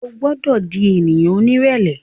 O gbọdọ di ènìyàn onírẹlẹ